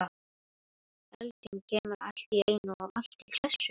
Elding kemur allt í einu og allt í klessu?